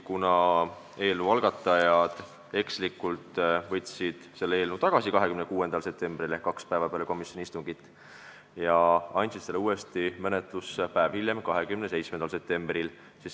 Eelnõu algatajad aga võtsid ekslikult eelnõu 26. septembril ehk kaks päeva peale komisjoni istungit tagasi ja andsid selle päev hiljem, 27. septembril uuesti üle.